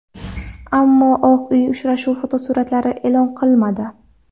Ammo Oq Uy uchrashuv fotosuratlarini e’lon qilmadi.